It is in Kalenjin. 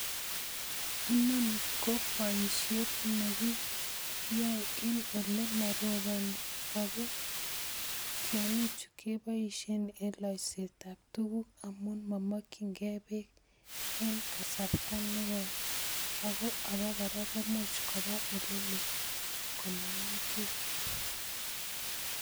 Inoni ko boisiet nekiyoe en ole moroponi ako tiongichu keboisien en loiset ab tuguk amun momokyinkee peek en kasarta nekoi, ako abakora komuch kopa eleloo komaan kii.